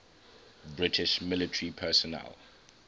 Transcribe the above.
british military personnel